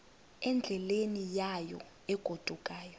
endleleni yayo egodukayo